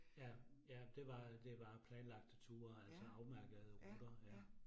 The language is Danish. Ja, ja, det var det var planlagte ture, altså afmærkede ruter, ja